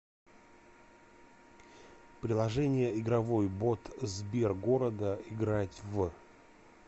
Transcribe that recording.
приложение игровой бот сбергорода играть в